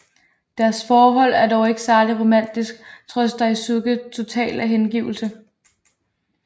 Deres forhold er dog ikke særlig romantisk trods Daisuke totale hengivelse